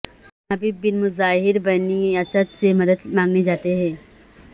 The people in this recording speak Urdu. حبیب بن مظاہر بنی اسد سے مدد مانگنے جاتے ہیں